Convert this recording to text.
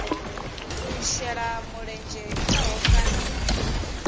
u shela mulenzhe khaho kana